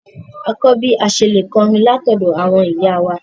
À kọ bí à sẹ̀ lẹ̀ kọrín lati òdo àwọn ìyá wa.